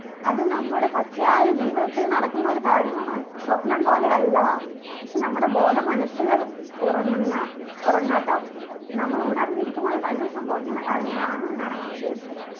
അത് നമ്മുടെ പച്ചയായ ജീവിതത്തിൽ നടക്കുന്ന ഒരു കാര്യമെന്നാണ് സ്വപ്നം പോലെയല്ല പക്ഷെ നമ്മുടെ ബോധ മനസുകൾ ഉറങ്ങുന്ന ഉറങ്ങാത്ത നമ്മൾ ഉണർന്നിരിക്കുമ്പൾ തന്നെ സംഭവിക്കുന്ന കാര്യങ്ങളാണെന്നാണ് ഞാൻ ഉദ്ദേശിച്ചത്